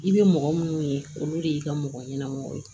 I bɛ mɔgɔ minnu ye olu de y'i ka mɔgɔ ɲɛnama ye